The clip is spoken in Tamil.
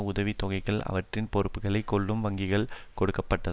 உதவி தொகைகளை அவற்றின் பொறுப்புக்களை கொள்ளும் வங்கிகளுக்கு கொடுப்பதுதான்